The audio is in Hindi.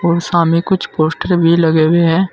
सामने कुछ पोस्टर भी लगे हुए हैं।